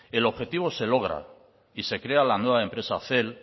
el objetivo se logra y se crea la nueva empresa cel